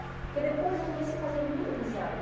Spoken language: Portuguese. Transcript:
Porque depois eu comecei a fazer muita amizade.